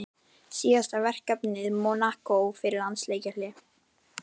Síðasta verkefni Mónakó fyrir landsleikjahlé?